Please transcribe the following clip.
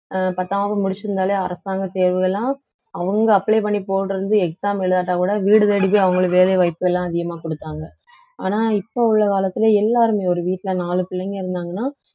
அஹ் பத்தாம் வகுப்பு முடிச்சிருந்தாலே அரசாங்கத் தேர்வுகள் எல்லாம் அவங்க apply பண்ணிப் போடுறது exam எழுதாட்டக் கூட வீடு தேடி அவங்களுக்கு வேலை வாய்ப்பு எல்லாம் அதிகமா கொடுத்தாங்க ஆனா இப்ப உள்ள காலத்துல எல்லாருமே ஒரு வீட்டுல நாலு பிள்ளைங்க இருந்தாங்கன்னா